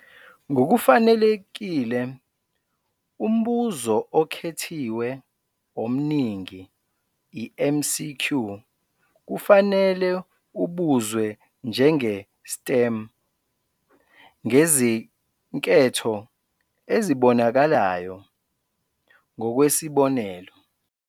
Ngokufanelekile, umbuzo okhethiwe omningi, i-MCQ, kufanele ubuzwe njenge-"STEM", ngezinketho ezibonakalayo, ngokwesibonelo.